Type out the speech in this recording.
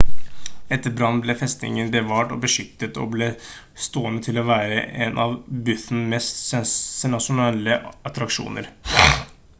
etter brannen ble festningen bevart og beskyttet og ble stående til å være en av bhutan mest sensasjonelle attraksjoner